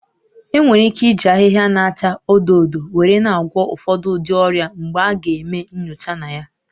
Enwere ike iji ahịhịa na-acha odo odo were na-agwọ ụfọdụ ụdị ọrịa mgbe a ga-eme nyocha na ya